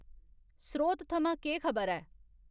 स्रोत थमां केह् खबर ऐ